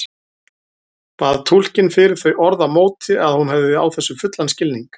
Bað túlkinn fyrir þau orð á móti að hún hefði á þessu fullan skilning.